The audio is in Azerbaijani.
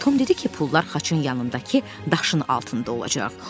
Tom dedi ki, pullar xaçın yanındakı daşın altında olacaq.